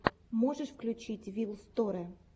можешь включить вил сторе